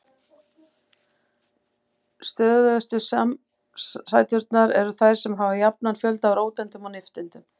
Stöðugustu samsæturnar eru þær sem hafa jafnan fjölda af róteindum og nifteindum.